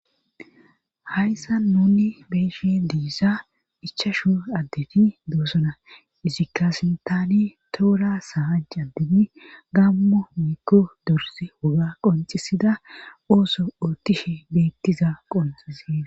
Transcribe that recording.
Hayssa nuni beeshe diissa ichasho addefi doosona izikka sintani toora sahajj addeni gammo mikko dorse woga qoncisida ooso otishe beettiza qoncisee.